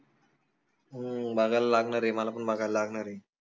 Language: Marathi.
हम्म बघायला लागनार आय मला पन बघायला लागनार आय